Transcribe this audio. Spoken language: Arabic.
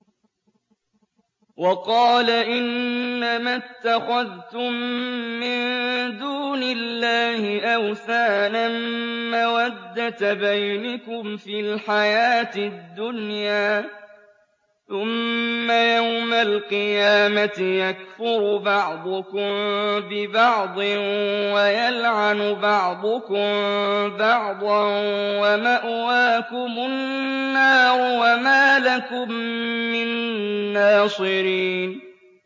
وَقَالَ إِنَّمَا اتَّخَذْتُم مِّن دُونِ اللَّهِ أَوْثَانًا مَّوَدَّةَ بَيْنِكُمْ فِي الْحَيَاةِ الدُّنْيَا ۖ ثُمَّ يَوْمَ الْقِيَامَةِ يَكْفُرُ بَعْضُكُم بِبَعْضٍ وَيَلْعَنُ بَعْضُكُم بَعْضًا وَمَأْوَاكُمُ النَّارُ وَمَا لَكُم مِّن نَّاصِرِينَ